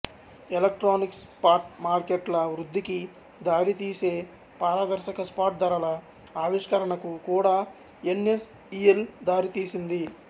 electronic spot మార్కెట్ల వృద్ధికి దారితీసే పారదర్శక స్పాట్ ధరల ఆవిష్కరణకు కూడా ఎన్ఎస్ఇఎల్ దారితీసింది